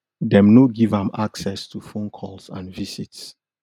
dem no give am access to phone calls and visits